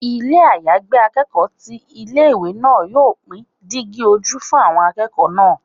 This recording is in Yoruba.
Ilé àyágbé akẹ́kọ̀ọ́ ti ilé ìwé náà yóò pín dígí ojú fún àwọn akẹ́kọ̀ọ́ náà.